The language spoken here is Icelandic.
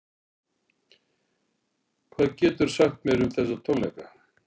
Hvað geturðu sagt mér um þessa tónleika?